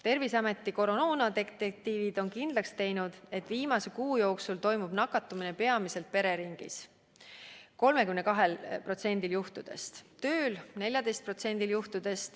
Terviseameti koroonadetektiivid on kindlaks teinud, et viimase kuu jooksul on nakatumine toimunud peamiselt pereringis ja tööl .